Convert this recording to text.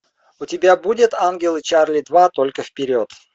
у тебя будет ангелы чарли два только вперед